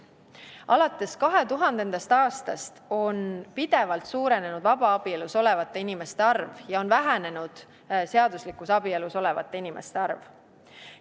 Alates 2000. aastast on pidevalt suurenenud vabaabielus olevate inimeste arv ja on vähenenud seaduslikus abielus olevate inimeste arv.